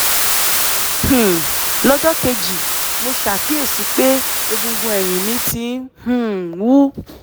um lọ́jọ́ kejì mo ṣàkíyèsí pé egungun ẹ̀yìn mi ti um wú